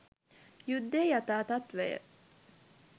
යුද්ධයේ යථා තත්ත්වය